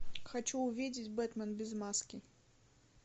хочу увидеть бэтмен без маски